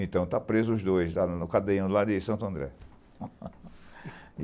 Então tá preso os dois, no cadeião lá de Santo André.